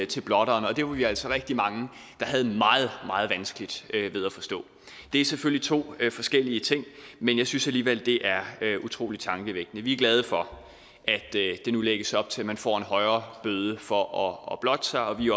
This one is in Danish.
til blotteren det var vi altså rigtig mange der havde meget meget vanskeligt ved at forstå det er selvfølgelig to forskellige ting men jeg synes alligevel det er utrolig tankevækkende vi er glade for at der nu lægges op til at man får en højere bøde for at blotte sig og vi